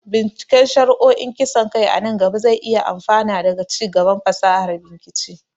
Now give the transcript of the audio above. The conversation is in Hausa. binciken shari'o'in kisan kai a nan gaba zai iya amfana daga ci gaban fasahar bincike.